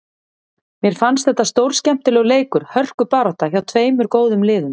Mér fannst þetta stórskemmtilegur leikur, hörkubarátta, hjá tveimur góðum liðum.